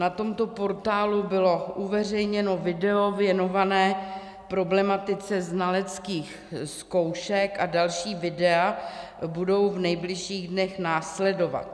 Na tomto portálu bylo uveřejněno video věnované problematice znaleckých zkoušek a další videa budou v nejbližších dnech následovat.